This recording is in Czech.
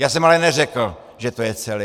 Já jsem ale neřekl, že je to celé.